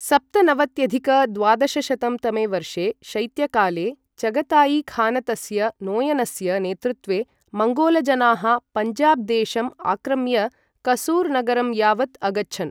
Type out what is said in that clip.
सप्तनवत्यधिक द्वादशशतं तमे वर्षे शैत्यकाले, चगतायी खानतस्य नोयनस्य नेतृत्वे मङ्गोलजनाः पञ्जाब देशम् आक्रम्य कसूर् नगरं यावत् अगच्छन्।